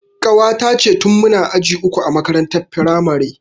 Ƙawata ce tin muna aji uku a makarantar firamare